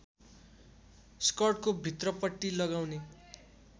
स्कर्टको भित्रपट्टि लगाउने